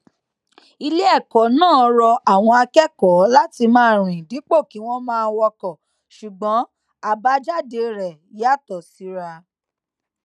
ilé èkó náà rọ àwọn akékòó láti máa rìn dípò kí wón máa wọkò ṣùgbọn àbájáde rè yàtò síra